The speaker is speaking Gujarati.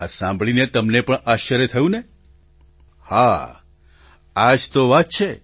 આ સાંભળીને તમને પણ આશ્ચર્ય થયું ને હા આ જ તો વાત છે